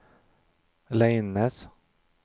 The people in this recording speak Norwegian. Leines